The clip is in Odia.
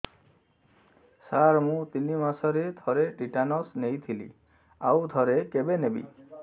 ସାର ମୁଁ ତିନି ମାସରେ ଥରେ ଟିଟାନସ ନେଇଥିଲି ଆଉ ଥରେ କେବେ ନେବି